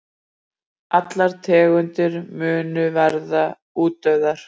Allar tegundir munu verða útdauða.